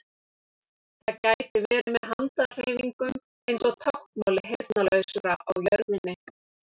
Það gæti verið með handahreyfingum eins og táknmáli heyrnarlausra á jörðinni.